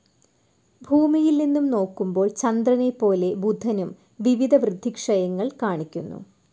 ഭൂമിയിൽ നിന്നും നോക്കുമ്പോൾ ചന്ദ്രനെപ്പോലെ ബുധനും വിവിധ വൃദ്ധിക്ഷയങ്ങൾ കാണിക്കുന്നു.